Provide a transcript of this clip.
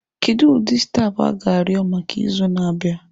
Kedu ụdị stampụ a ga-arịọ maka izu na-abịa?